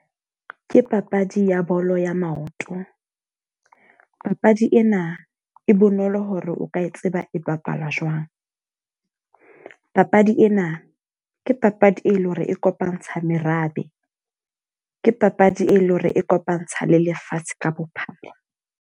Ke papadi ya bolo ya maoto. Papadi ena e bonolo hore o ka e tseba e bapalwa jwang. Papadi ena ke papadi e leng hore e kopantsha merabe, ke papadi e leng hore e kopantsha le lefatshe ka bophara.